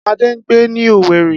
Ade ń gbé ní Owerri